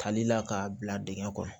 Kalila k'a bila dingɛ kɔnɔ